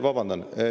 Vabandust!